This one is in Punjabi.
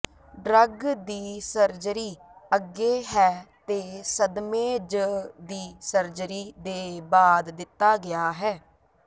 ਡਰੱਗ ਦੀ ਸਰਜਰੀ ਅੱਗੇ ਹੈ ਅਤੇ ਸਦਮੇ ਜ ਦੀ ਸਰਜਰੀ ਦੇ ਬਾਅਦ ਦਿੱਤਾ ਗਿਆ ਹੈ